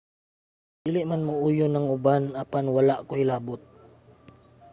dili man mouyon ang uban apan wala koy labot